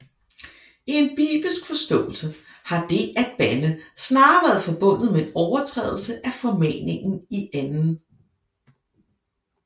I en bibelsk forståelse har det at bande snarere være forbundet med en overtrædelse af formaningen i 2